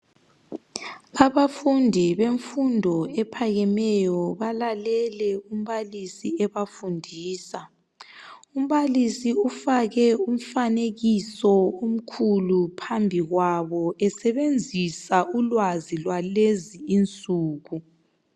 Abafundi bemfundo ephakemeyo balalele umbalisi ebafundisa. Umbalisi ufake umfanekiso omkhulu phambikwabo esebenzisa ulwazi lwalezi insuku.